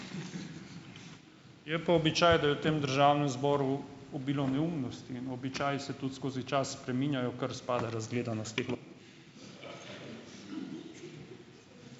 Je pa običaj, da je v tem državnem zboru obilo neumnosti, in običaji se tudi skozi čas spreminjajo, kar spada k razgledanosti.